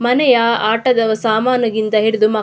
ಮನೆಯ ಆಟದ ಸಾಮಾನು ಇಂದ ಹಿಡಿದು ಮಕ್--